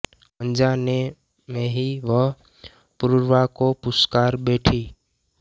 अनजाने में ही वह पुरुरवा को पुकार बैठी